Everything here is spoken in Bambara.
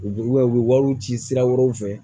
U u bɛ u bɛ wariw ci sira wɛrɛw fɛ